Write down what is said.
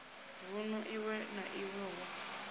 vunu iwe na iwe hu